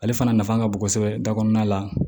Ale fana nafa ka bon kosɛbɛ da kɔnɔna la